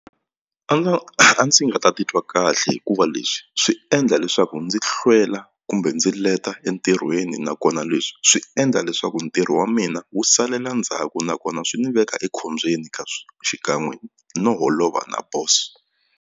a ndzi nga ta titwa kahle hikuva leswi swi endla leswaku ndzi hlwela kumbe ndzi leta entirhweni nakona leswi swi endla leswaku ntirho wa mina wu salela ndzhaku nakona swi ni veka ekhombyeni ka xikan'we no holova na boso.